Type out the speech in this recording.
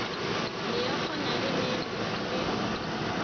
meokgo na le ne le